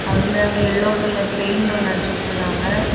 அதுல ஒரு yellow colour paint ஒன்னு அடிச்சு வெச்சுருக்காங்க.